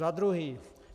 Za druhé.